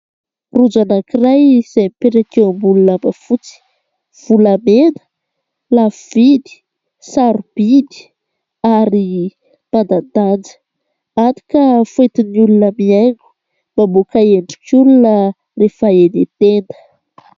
Rojo anankiray izay mipetraka eo ambony lamba fotsy : volamena, lafo vidy, sarobidy ary manan-danja hany ka fihoentin'ny olona mihaingo mamoaka endrik'olona rehefa eny an-tenda.